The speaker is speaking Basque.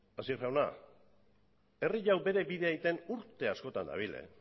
hasier jauna herri hau bere bidea egiten urte askotan dabil